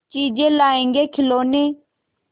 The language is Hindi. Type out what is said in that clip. चीजें लाएँगेखिलौने